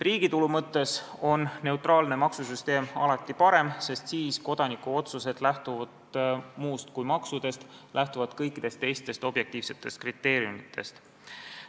Riigitulu mõttes on neutraalne maksusüsteem alati parem, sest siis lähtuvad kodaniku otsused muust kui maksudest, need lähtuvad kõikidest teistest objektiivsetest kriteeriumidest.